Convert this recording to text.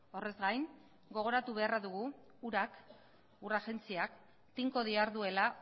horrez gain gogoratu beharra dugu urak ur agentziak tinko diharduela